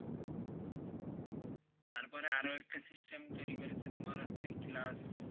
তারপরে আরও একটা system তৈরি করেছে তুমার হচ্ছে class,